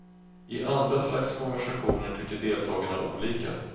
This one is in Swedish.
I andra slags konversationer tycker deltagarna olika.